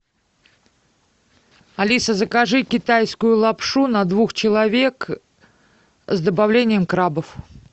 алиса закажи китайскую лапшу на двух человек с добавлением крабов